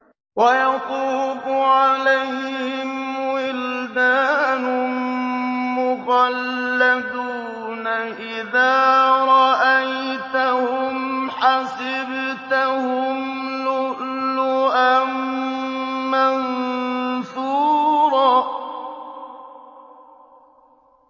۞ وَيَطُوفُ عَلَيْهِمْ وِلْدَانٌ مُّخَلَّدُونَ إِذَا رَأَيْتَهُمْ حَسِبْتَهُمْ لُؤْلُؤًا مَّنثُورًا